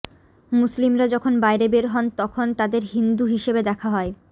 মুসলিমরা যখন বাইরে বের হন তখন তাদের হিন্দু হিসেবে দেখা হয়